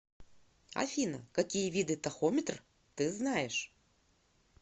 афина какие виды тахометр ты знаешь